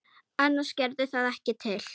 Annars gerði það ekkert til.